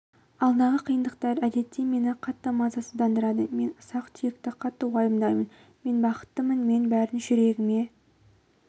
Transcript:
алдағы қиындықтар әдетте мені қатты мазасыздандырады мен ұсақ түйекті қатты уайымдаймын мен бақыттымын мен бәрін жүрегіме